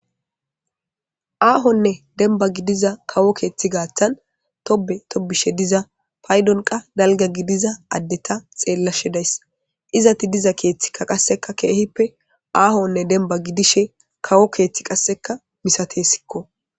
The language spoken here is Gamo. Aahonne dembba gidiza kawo keethi gaaththan tobbe tobbishe diza paydon qa dalgga gidiza addeta xeellashe days. Izati diza keethika qasseka keehippe aahonne dembba gidishe kawo keethi qasseka misateesikko.